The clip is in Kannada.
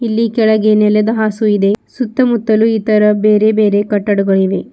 ಇಲ್ಲಿ ಕೆಳಗೆ ನೆಲದ ಹಾಸು ಇದೆ ಸುತ್ತಮುತ್ತಲು ಇತರ ಬೇರೆ ಬೇರೆ ಕಟ್ಟಡಗಳು ಇವೆ.